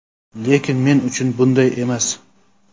Lekin, men uchun bunday emas.